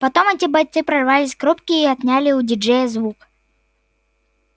потом эти бойцы прорвались к рубке и отняли у диджея звук